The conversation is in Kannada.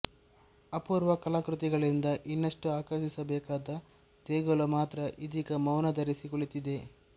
ಅಪೂರ್ವ ಕಲಾಕೃತಿಗಳಿಂದ ಇನ್ನಷ್ಟು ಆಕರ್ಷಿಸಬೇಕಾದ ದೇಗುಲ ಮಾತ್ರ ಇದೀಗ ಮೌನ ಧರಿಸಿ ಕುಳಿತಿದೆ